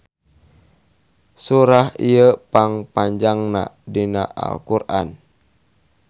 Surah ieu pang panjangna dina Al Qur'an.